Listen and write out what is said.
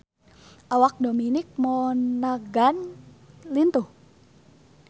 Awak Dominic Monaghan lintuh